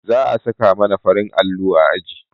za a saka mana farin allo a aji